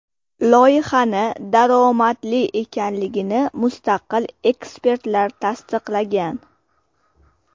Loyihani daromadli ekanligini mustaqil ekspertlar tasdiqlagan.